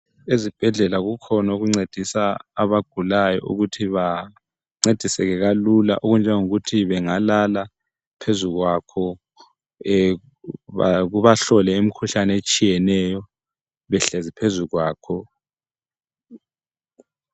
Ezibhedlela kukhona okuncedisa abagulayo, ukuthi bancediseke kalula okunje ukuthi bangalala phezu kwakho, kubahlole imikhuhlane etshiyeneyo behlezi phezu kwakho.